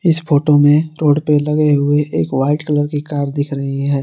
इस फोटो में रोड पे लगे हुए एक वाइट कलर की कार दिख रही है।